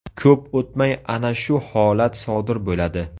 Ko‘p o‘tmay ana shu holat sodir bo‘ladi.